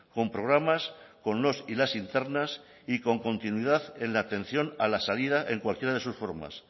con programas con los y las internas y con continuidad en la atención a la salida en cualquiera de sus formas